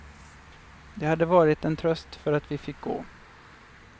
Det hade varit en tröst för att vi fick gå.